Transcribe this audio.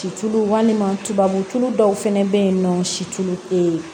Situlu walima tubabu dɔw fɛnɛ be yen nɔ situlu tee